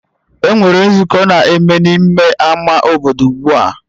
Enwere nzukọ na-eme n'ime ama obodo ugbua